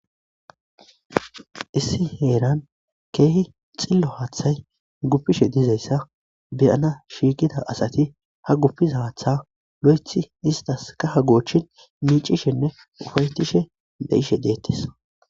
Issi heeran keehi xillo haathay guppishe dizayssa beyana shiiqida asati ha guppiza haatha lo7ethi istas kaha goochin miicishenne ufaytishe de7ishe deettes